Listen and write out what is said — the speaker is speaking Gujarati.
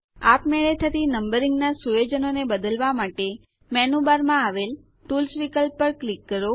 આપમેળે થતી નંબરીંગ ના સુયોજનોને બદલવા માટે મેનૂ બારમાં આવેલ ટૂલ્સ વિકલ્પ પર ક્લિક કરો